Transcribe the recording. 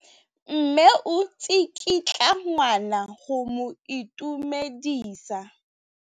Mme o tsikitla ngwana go mo itumedisa.